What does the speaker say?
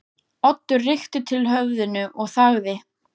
Oddur rykkti til höfðinu og þagði.